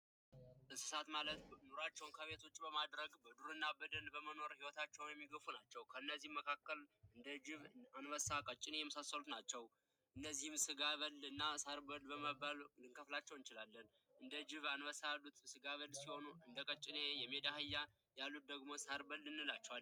እንስሳት ኑሯቸውን ከቤት ከውጭ በማድረግ በዱርና በደን በመኖር ይወታቸውን የሚገፉ ናቸው ከነዚህም መካከል እንደ ጅብ አንበሳ ቀጨኔ የመሳሰሉት ናቸው እነዚህን ስጋ በል እና ሳር በል በመባል ልንከፍላቸው እንችላለን እንደ ጅብ አንበሳ ያሉት ስጋ በል ሲሆኑ እንደቀጨኔ የሜዳ አህያ ያሉት ደግሞ ሳርበል እንላቸዋለን።